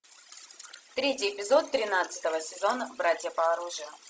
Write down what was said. третий эпизод тринадцатого сезона братья по оружию